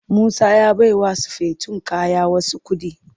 Musa ya baiwa sufeton kaya wasu kuɗi.